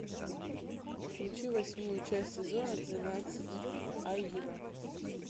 включи восьмую часть сезона двенадцать аюра